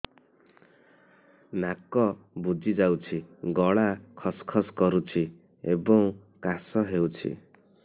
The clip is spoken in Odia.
ନାକ ବୁଜି ଯାଉଛି ଗଳା ଖସ ଖସ କରୁଛି ଏବଂ କାଶ ହେଉଛି